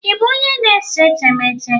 Ị bụ onye na-ese etemeete?